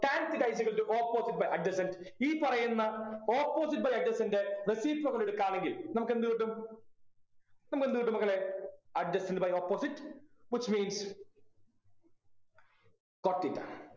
tan theta is equal to opposite by adjacent ഈ പറയുന്ന opposite by adjacent reciprocal എടുക്കാന്നെങ്കിൽ നമുക്കെന്ത് കിട്ടും നമുക്കെന്ത് കിട്ടും മക്കളെ adjacent by opposite which means cot theta